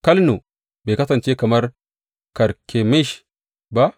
Kalno bai kasance kamar Karkemish ba?